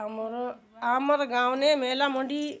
आमर आमर गांव ने मेला मंडई --